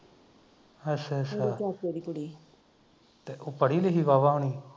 ਅੱਛਾ ਅੱਛਾ ਤੇ ਉਹ ਪੜੀ ਲਿਖੀ ਵਾਵਾਂ ਹੁਣੀ